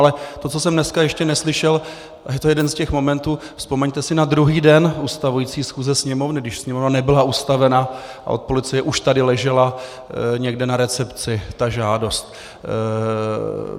Ale to, co jsem dneska ještě neslyšel, a je to jeden z těch momentů - vzpomeňte si na druhý den ustavující schůze Sněmovny, když Sněmovna nebyla ustavena a od policie už tady ležela někde na recepci ta žádost.